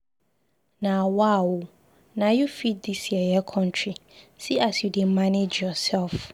Nawa ooo, na you fit dis yeye country, see as you dey manage yourself.